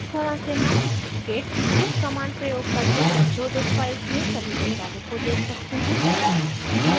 इस तरह से हम git diff command प्रयोग करके संशोधित files में सभी बदलावों को देख सकते हैं